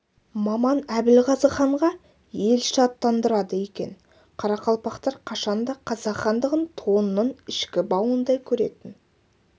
маман әбілғазы ханға елші аттандырады екен қарақалпақтр қашан да қазақ хандығын тонның ішкі бауындай көретін